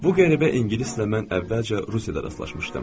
Bu qəribə ingilis ilə mən əvvəlcə Rusiyada rastlaşmışdım.